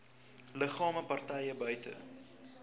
liggame partye buite